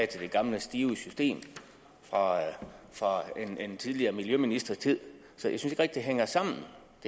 til det gamle stive system fra en tidligere miljøministers tid så jeg synes ikke det hænger sammen